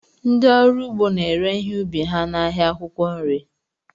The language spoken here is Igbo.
Ndị ọrụ ugbo na-ere ihe ubi ha n'ahịa akwụkwọ nri